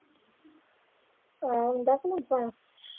ਆਉਂਦਾ ਸੀ ਮੇਰੇ ਤੋਂ।